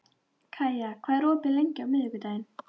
Kaía, hvað er opið lengi á miðvikudaginn?